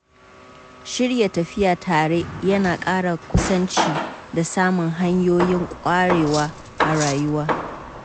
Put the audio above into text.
Shirya tafiya tare yana ƙara kusanci da samun hanyoyin ƙwarewa a rayuwa.